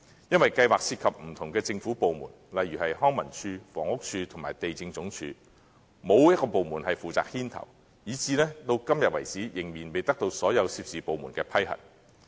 由於計劃涉及不同的政府部門，例如康樂及文化事務署、房屋署和地政總署，但又沒有一個部門負責牽頭，至今仍然未得到所有有關部門的批核。